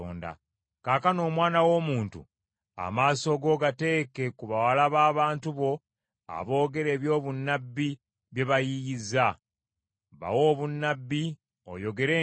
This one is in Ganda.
“Kaakano omwana w’omuntu, amaaso go gateeke ku bawala b’abantu bo aboogera eby’obunnabbi bye bayiiyizza. Bawe obunnabbi, oyogere nti,